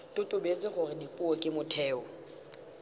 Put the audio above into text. totobetse gore dipuo ke motheo